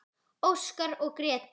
Óskar og Gréta.